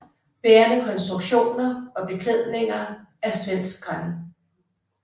Bærende konstruktioner og beklædninger er svensk gran